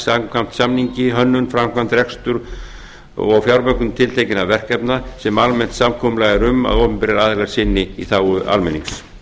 samkvæmt samningi hönnun framkvæmd reksturs og fjármögnun tiltekinna verkefna sem almennt samkomulag er um að opinberir aðilar sinni í þágu almennings